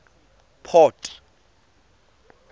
port